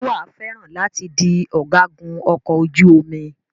Ṣé wàá fẹ́ràn láti di ọ̀gágun ọkọ̀ ojú omi?